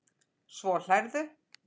Svo hlærðu.